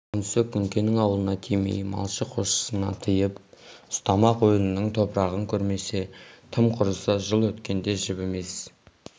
онысы күнкенің аулына тимей малшы қосшыны тыйып ұстамақ өлінің топырағын көрмесе тым құрыса жыл өткенде жібімес